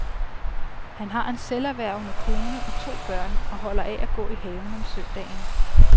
Han har en selverhvervende kone og to børn og holder af at gå i haven om søndagen.